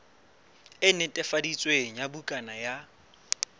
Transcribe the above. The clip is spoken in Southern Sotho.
e netefaditsweng ya bukana ya